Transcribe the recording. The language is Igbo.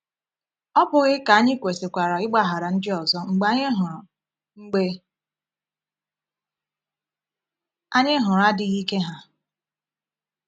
Ọ bụghị ka anyị kwesịkwara ịgbaghara ndị ọzọ mgbe anyị hụrụ mgbe anyị hụrụ adịghị ike ha?